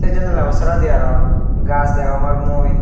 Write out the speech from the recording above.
sey janalabo seredi aro gaj degongor mui.